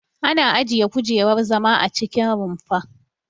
Ana ajiye kujerar zama a cikin rumfa.